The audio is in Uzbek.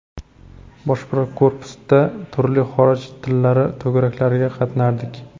Bosh korpusda turli xorij tillari to‘garaklariga qatnardik.